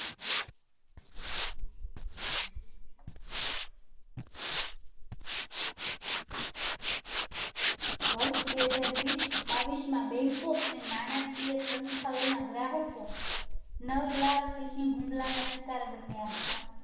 વર્ષ બે હજાર વીસ બાવીસના બેંકો અને નાણાંકીય સંસ્થાઓના ગ્રાહકો નવ લાખ Phising હુમલાના શિકાર બન્યા હતા.